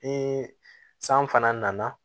Ni san fana nana